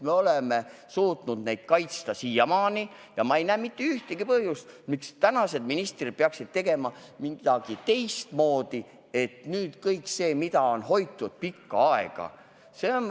Me oleme suutnud neid andmeid siiamaani kaitsta ja ma ei näe mitte ühtegi põhjust, miks tänased ministrid peaksid tegema midagi teistmoodi, et kahjustada seda, mida on pikka aega hoitud.